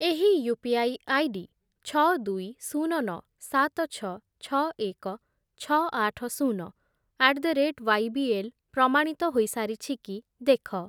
ଏହି UPI ID ଛଅ, ଦୁଇ, ଶୂନ, ନଅ, ସାତ, ଛଅ, ଛଅ, ଏକ, ଛଅ, ଆଠ, ଶୂନ ଆଟ୍ ଦ ରେଟ୍ ୱାଇବିଏଲ୍ ପ୍ରମାଣିତ ହୋଇସାରିଛି କି ଦେଖ।